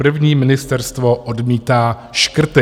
První ministerstvo odmítá škrty.